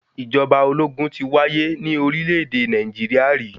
Ìjọba ológun ti wáyé ní orílẹ̀-èdè Nàìjíríà rí.